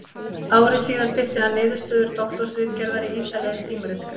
Ári síðar birti hann niðurstöður doktorsritgerðarinnar í ýtarlegri tímaritsgrein.